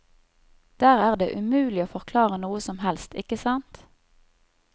Der er det umulig å forklare noe som helst, ikke sant.